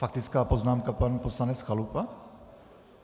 Faktická poznámka pan poslanec Chalupa?